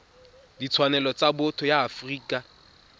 ditshwanelo tsa botho ya afrika